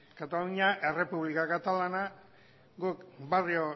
katalunia errepublika katalana guk barrio